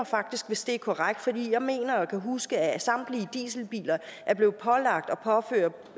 faktisk hvis det er korrekt for jeg mener at kunne huske at samtlige dieselbiler er blevet pålagt